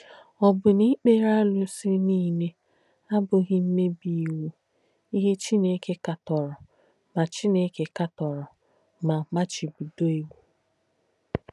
Ọ̀ bù nà ìkpèrè árùsì nílē àbùghị̄ m̀mèbì ìwù, íhe Chìnéke kàtọ̀rọ̀ mà Chìnéke kàtọ̀rọ̀ mà màchìbídọ̀ ìwù?